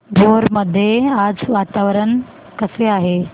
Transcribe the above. भोर मध्ये आज वातावरण कसे आहे